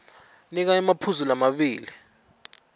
nika emaphuzu lamabili